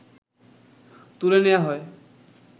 তুলে নেয়া হয়